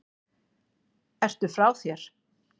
Ertu frá þér??